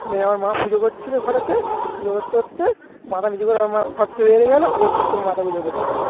দিয়ে আমার মা পুজো করছিল ঘরেতে পুজো করতে করতে মাথা নিচু করে আমার মা ফাককে বেরিয়ে গেল ও চুপ করে মাথা গুঁজে বসে পড়ল।